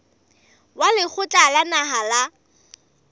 wa lekgotla la naha la